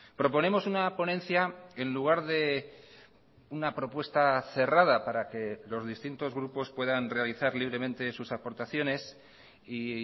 proponemos una ponencia en lugar de una propuesta cerrada para que los distintos grupos puedan realizar libremente sus aportaciones y